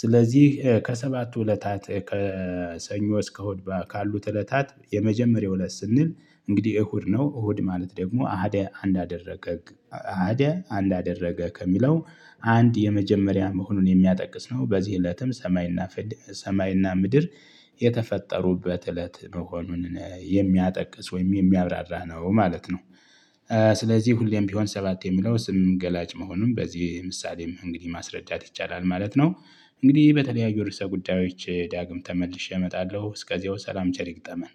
ስለዚህ ከሰባቱ እለታት ከሰኞ እስከ እሁድ ካሉት እለታት የመጀመሪያው እለት ስንል እንግዲህ እሁድ ነው። እሁድ ማለት ደግሞ አሀድ አንድ አደረገ አሀደ አንድ አደረገ ከሚለው አንድ የመጀመሪያ መሆኑን የሚያጠቅስ ነው። በዚህ እለትም ሰማይና ሰማይና ምድር የተፈጠሩበት እለት መሆኑን የሚያጠቅስ ወይም የሚያብራራ ነው ማለት ነው። ስለዚህ ሁሌም ቢሆን ሰባት የሚለው ስም ገላጭ መሆኑን በዚህ ምሳሌም እንግዲህ ማስረዳት ይቻላል ማለት ነው። እንግዲህ በተለያዩ ርዕሰ ጉዳዮች ዳግም ተመልሼ እመጣለሁ እስከዚያው ሰላም ቸር ይግጠመን